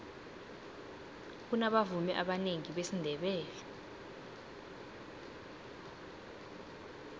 kunabavumi abanengi besindebele